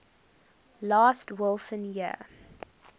last wilson year